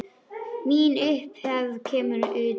Mín upphefð kemur að utan.